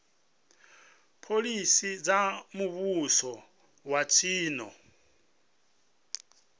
phoḽisi dza muvhuso wa tshino